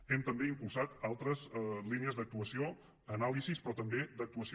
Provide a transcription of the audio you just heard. hem també impulsat altres línies d’actuació anàlisi però també d’actuació